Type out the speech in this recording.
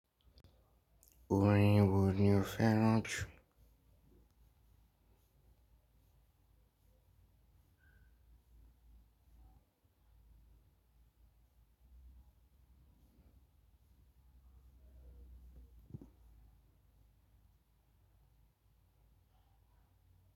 Orin wò ni o fẹràn ju.